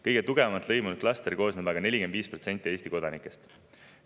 Kõige tugevamalt lõimunud klastrisse on aga 45% Eesti kodanikud.